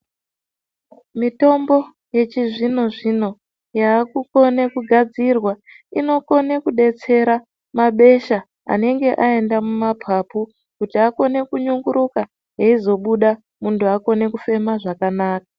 Mitombo yechizvino zvino yavekukone kugadzirwa inokone kudetsera mabesha anenge aenda kumapapu kuti akone kunyunguruka aizobuda muntu aonne kufema zvakanaka.